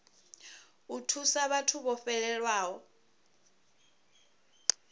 u thusa vhathu vho fhelelwaho